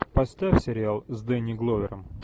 поставь сериал с дэнни гловером